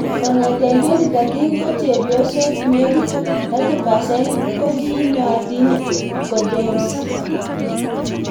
Kong'etei 2013 ko Chepyosok nekit 30% kokinootin ko Dames